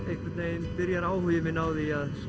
einhvern veginn byrjar áhugi minn á því að